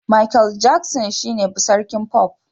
Michael Jackson shine sarkin pop